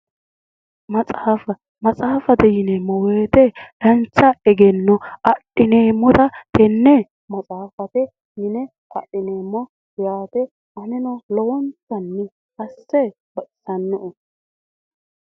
Maxaafa maxaaffate yineemmo woyiite dancha egenno adhineemmota tenne maxaaffate yine adhineemmo yaate aneno lowonta asse baxisannoe